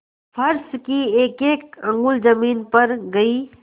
फर्श की एकएक अंगुल जमीन भर गयी